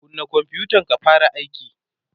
kunna konfutan ka fara aiki!